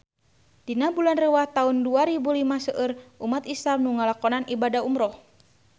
Dina bulan Rewah taun dua rebu lima seueur umat islam nu ngalakonan ibadah umrah